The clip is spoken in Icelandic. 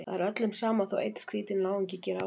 Það er öllum sama þótt einn skrýtinn náungi geri á sig.